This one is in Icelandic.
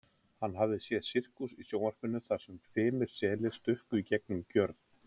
Hann hafði séð sirkus í sjónvarpinu þar sem fimir selir stukku í gegnum gjörð.